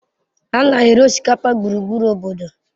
A na-eri osikapa gburugburu obodo